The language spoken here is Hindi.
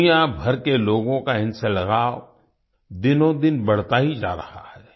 दुनियाभर के लोगों का इनसे लगाव दिनोंदिन बढ़ता ही जा रहा है